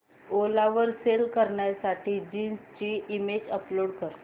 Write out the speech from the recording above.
ओला वर सेल करण्यासाठी जीन्स ची इमेज अपलोड कर